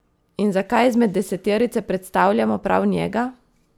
In zakaj izmed deseterice predstavljamo prav njega?